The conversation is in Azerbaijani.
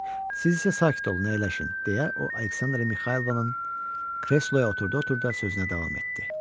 Siz isə sakit olun, əyləşin, deyə o Aleksandra Mixaylovnanın kresloya oturdu-oturuda sözünə davam etdi.